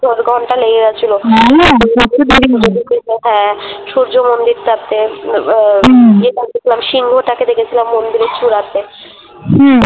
ঘন্টা লেগে গেছিলো হ্যাঁ সূর্য মন্দিরটাতে উম ব হুম সিংহটাকে দেখেছিলাম মন্দিরের চূড়াতে । হহুম